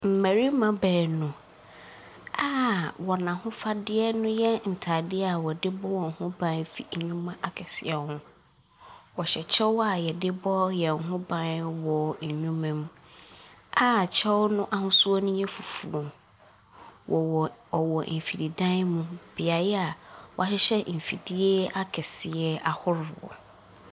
Mbɛrema beenu a wɔ ahofadeɛ ne yɛ ntaadeɛ a wɔde bɔ wɔn ho ban firi noɔma akɛseɛ ho. Wɔhyɛ kyɛw a yɛde bɔ yɛ ho ban wɔ nneɛma mu a kyɛw no ahosuo no yɛ fufuuo. Ɔwɔ mfidi dan mu, beayɛ a w'ahyehyɛ mfidie akɛseɛ ahoroɔ.